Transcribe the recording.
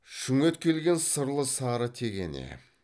шүңет келген сырлы сары тегене